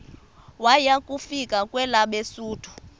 waya kufika kwelabesuthu